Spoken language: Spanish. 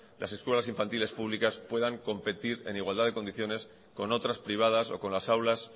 las escuelas infantiles públicas pueden competir en igualdad de condiciones con otras privadas o con las aulas